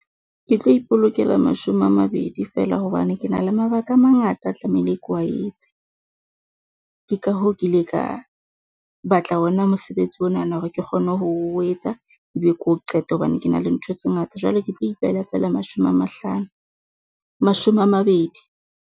Ke tlo ipolokela mashome a mabedi feela hobane ke na le mabaka a mangata a ke tlamehile ke wa etse. Ke ka hoo ke ile ka batla ona mosebetsi onana hore ke kgone ho o etsa kebe ke o qete hobane ke na le ntho tse ngata. Jwale ke tlo ipehela feela mashome a mahlano, mashome a mabedi.